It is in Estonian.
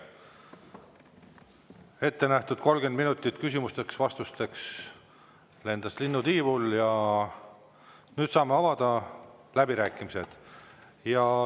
Ette nähtud 30 minutit küsimusteks-vastusteks lendas linnutiivul ja nüüd saame avada läbirääkimised.